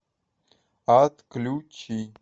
отключи